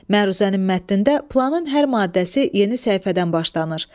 Məruzənin mətnində planın hər maddəsi yeni səhifədən başlanır.